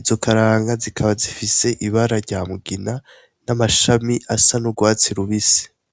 izo karanga zikaba zifise ibara ryamugina n'amashami asa n'ugwatsi rubisi.